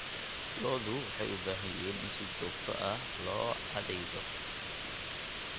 Lo'du waxay u baahan yihiin in si joogto ah loo cadaydo.